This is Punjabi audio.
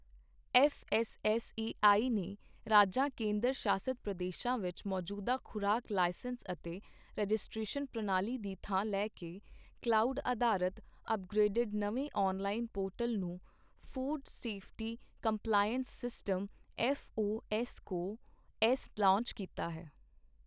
F S S A I ਨੇ ਰਾਜਾਂ ਕੇਂਦਰ ਸ਼ਾਸਤ ਪ੍ਰਦੇਸ਼ਾਂ ਵਿੱਚ ਮੌਜੂਦਾ ਖ਼ੁਰਾਕ ਲਾਇਸੈਂਸ ਅਤੇ ਰਜਿਸਟ੍ਰੇਸ਼ਨ ਪ੍ਰਣਾਲੀ ਦੀ ਥਾਂ ਲੈ ਕੇ ਕਲਾਉਡ ਅਧਾਰਤ ਅਪਗ੍ਰੇਡਡ ਨਵੇਂ ਔਨਲਾਈਨ ਪੋਰਟਲ ਨੂੰ food safety compliance system F O S co S launch ਕੀਤਾ ਹੈ।